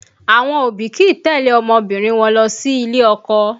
Àwọn òbí kìí tẹ̀lé ọmọbìnrin wọn lọ sí ilé ọkọ